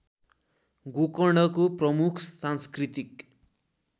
गोकर्णको प्रमुख सांस्कृतिक